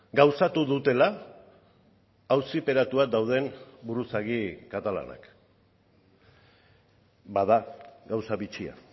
gauzatu dutela auziperatuak dauden buruzagi katalanak bada gauza bitxia